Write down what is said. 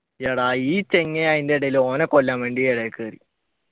എടാ ഈ ചങ്ങായി അതിന്റെ ഇടയിൽ ഓനെ കൊല്ലാൻ വേണ്ടി ഇടയിൽ കേറി